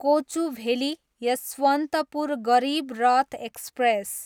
Kochuveli, Yesvantpur Garib Rath express